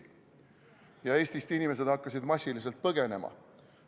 Ja inimesed hakkasid Eestist massiliselt põgenema.